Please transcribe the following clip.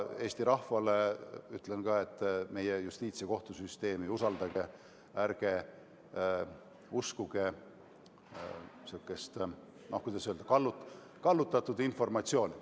Eesti rahvale ütlen samuti, et usaldage meie justiits- ja kohtusüsteemi, ärge uskuge sihukest, no kuidas öelda, kallutatud informatsiooni.